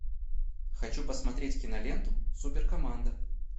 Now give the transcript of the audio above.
хочу посмотреть киноленту суперкоманда